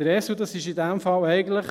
Der Esel ist in diesem Fall eigentlich